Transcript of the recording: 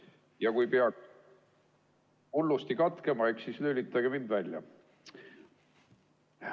Ja kui peaks hullusti katkema, eks siis lülitage mind välja.